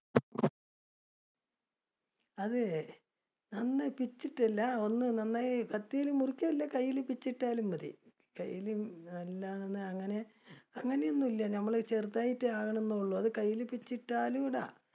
അതെ പിച്ചി ഇട്ടതല്ല ഒന്ന് നന്നായി കത്തിയില് മുറിക്കോ ഇല്ലേ കയ്യില് പിച്ചി ഇട്ടാ മതി. കൈയ്യില് അങ്ങനെ ഒന്നും ഇല്ല ഞമ്മള് ചെറുതായിട്ട് ആണെന്ന് ഉള്ളൂ, അത് കയ്യിലെ പിച്ചിയിട്ടാലും ഇടാം